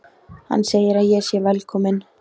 Hann segir að ég sé velkomin.